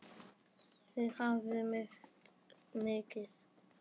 Þið hafið misst mikið.